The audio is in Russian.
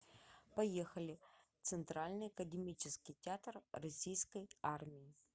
поехали центральный академический театр российской армии